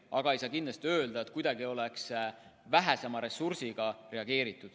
Aga ei ole kindlasti õige öelda, et oleks vähema ressursiga reageeritud.